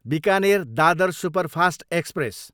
Bikaner, Dadar superfast express